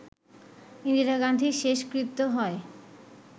ইন্দিরা গান্ধীর শেষকৃত্য হয়